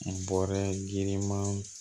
N bɔra girimanw